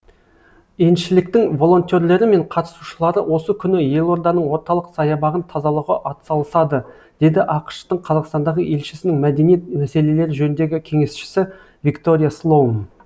елшіліктің волентерлері мен қатысушылары осы күні елорданың орталық саябағын тазалауға атсалысады деді ақш тың қазақстандағы елшісінің мәдениет мәселелері жөніндегі кеңесшісі виктория слоун